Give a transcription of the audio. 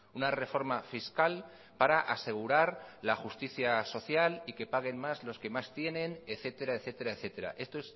una reforma fiscal para asegurar la justicia social y que paguen más los que más tienen etcétera etcétera etcétera esto